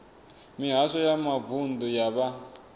mihasho ya mavunḓu ya vha